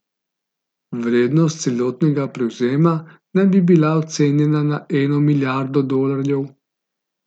Vrednost celotnega prevzema naj bi bila ocenjena na eno milijardo dolarjev.